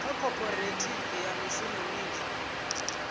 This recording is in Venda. kha khophorethivi ya mishumo minzhi